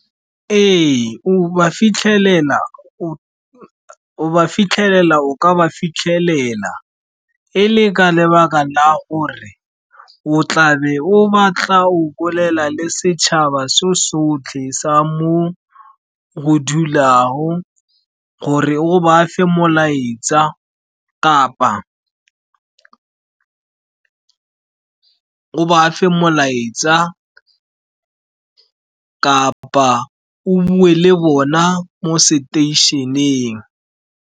Ee, go ba fitlhelela, o ka ba fitlhelela e le ka lebaka la gore o tlabe o batla go bolela le setšhaba so sotlhe sa mo o dulago, gore o ba fe molaetsa, kapa o bue le bona mo seteišeneng.